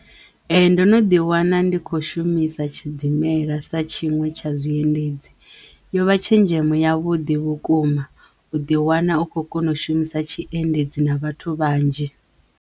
Ee ndo no ḓi wana ndi kho shumisa tshidimela sa tshinwe tsha zwiendedzi yo vha tshenzhemo ya vhuḓi vhukuma u ḓi wana u khou kona u shumisa tshiendedzi na vhathu vhanzhi.